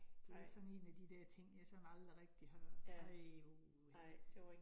Det sådan 1 af de der ting, jeg sådan aldrig rigtig har, nej uha